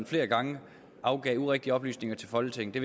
flere gange afgav urigtige oplysninger til folketinget det